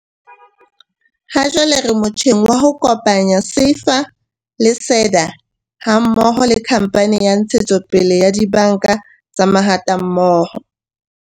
"Hajwale re motjheng wa ho kopanya SEFA le SEDA ha mmoho le Khamphane ya Ntshetsopele ya Dibanka tsa Mahatammoho."